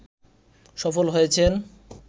সফল হয়েছেন